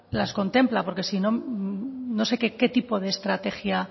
las contempla porque si no no sé qué tipo de estrategia